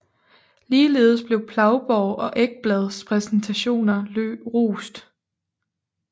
Ligeledes blev Plaugborg og Ekblads præstationer rost